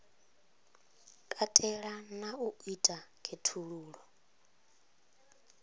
katela na u ita khaṱhululo